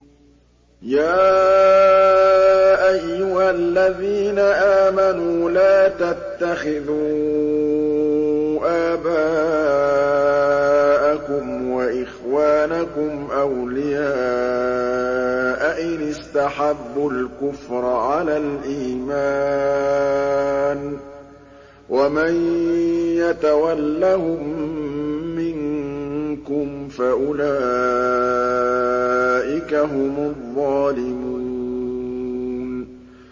يَا أَيُّهَا الَّذِينَ آمَنُوا لَا تَتَّخِذُوا آبَاءَكُمْ وَإِخْوَانَكُمْ أَوْلِيَاءَ إِنِ اسْتَحَبُّوا الْكُفْرَ عَلَى الْإِيمَانِ ۚ وَمَن يَتَوَلَّهُم مِّنكُمْ فَأُولَٰئِكَ هُمُ الظَّالِمُونَ